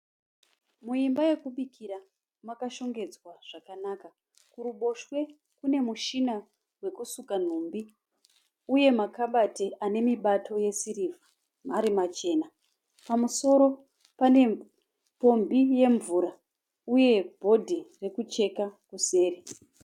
Muimba yekubikira, makashongedzwa zvakanaka. Kuruboshwe kune mushina wekusuka nhumbi uye makabati ane mibato yesirivha ari machena. Pamusoro pane pombi yemvura uye bhodhi yekucheka kuseri.